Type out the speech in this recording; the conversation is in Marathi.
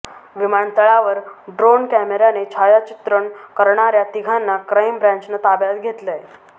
विमानतळवर ड्रोन कॅमेरानं छायाचित्रण करणाऱ्या तिघांना क्राईम ब्रांचनं ताब्यात घेतलंय